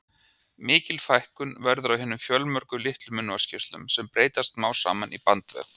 Mikil fækkun verður á hinum fjölmörgu litlu munnvatnskirtlum, sem breytast smám saman í bandvef.